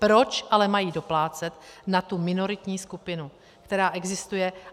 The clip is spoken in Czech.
Proč ale mají doplácet na tu minoritní skupinu, která existuje?